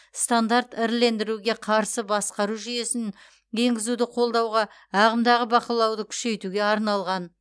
стандарт ірілендіруге қарсы басқару жүйесін енгізуді қолдауға ағымдағы бақылауды күшейтуге арналған